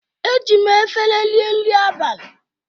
Eji m efere rie nri abalị m.